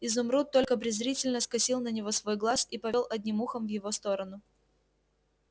изумруд только презрительно скосил на него свой глаз и повёл одним ухом в его сторону